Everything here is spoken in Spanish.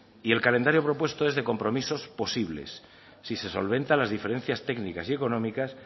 y el calendario propuesto es de compromisos posibles si se solventan las diferencias técnicas y económicas